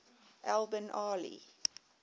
al bin ali